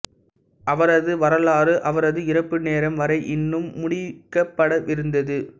அவரது வரலாறு அவரது இறப்பு நேரம் வரை இன்னும் முடிக்கப்படவிருந்தது